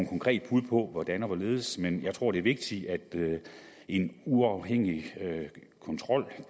konkret bud på hvordan og hvorledes men jeg tror det er vigtigt at en uafhængig kontrol